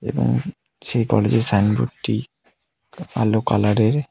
এবং সেই কলেজের সাইনবোর্ডটি কালো কালারের।